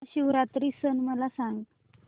महाशिवरात्री सण मला सांग